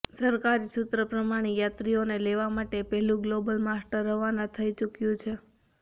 સરકારી સૂત્રો પ્રમાણે યાત્રીઓને લેવા માટે પહેલું ગ્લોબલમાસ્ટર રવાના થઇ ચૂક્યું છે